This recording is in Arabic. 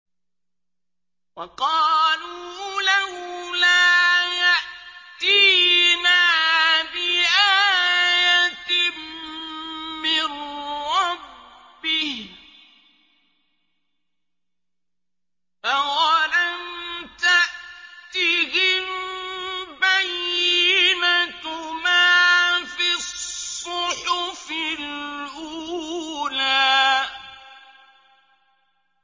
وَقَالُوا لَوْلَا يَأْتِينَا بِآيَةٍ مِّن رَّبِّهِ ۚ أَوَلَمْ تَأْتِهِم بَيِّنَةُ مَا فِي الصُّحُفِ الْأُولَىٰ